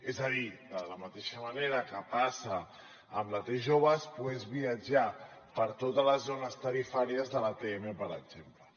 és a dir de la mateixa manera que passa amb la t jove es pogués viatjar per totes les zones tarifàries de l’atm per exemple